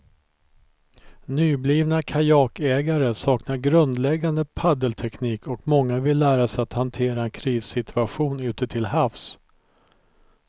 Nyblivna kajakägare saknar grundläggande paddelteknik och många vill lära sig att hantera en krissituation ute till havs.